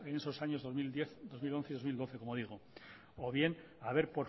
en esos años dos mil diez dos mil once y dos mil doce como digo o bien haber